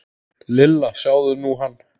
Lilla, sjáðu nú hann.